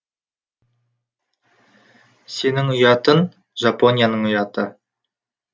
сенің ұятың жапонияның ұяты